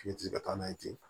F'i ti se ka taa n'a ye ten